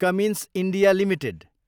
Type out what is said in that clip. Cummins India Ltd